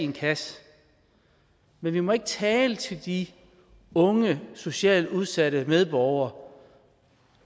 kasse men vi må ikke tale til de unge socialt udsatte medborgere